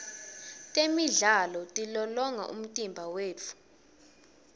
temidlalo tilolonga umtimba wetfu